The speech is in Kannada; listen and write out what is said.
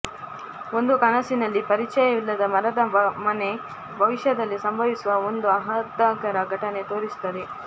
ಒಂದು ಕನಸಿನಲ್ಲಿ ಪರಿಚಯವಿಲ್ಲದ ಮರದ ಮನೆ ಭವಿಷ್ಯದಲ್ಲಿ ಸಂಭವಿಸುವ ಒಂದು ಆಹ್ಲಾದಕರ ಘಟನೆ ತೋರಿಸುತ್ತದೆ